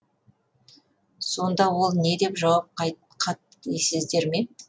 сонда ол не деп жауап қатты дейсіздер ме